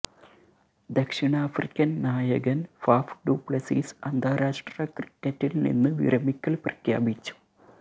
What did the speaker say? ദക്ഷിണാഫ്രിക്കന് നായകന് Faf du Plessis അന്താരാഷ്ട്ര ക്രിക്കറ്റിൽ നിന്ന് വിരമിക്കൽ പ്രഖ്യാപിച്ചു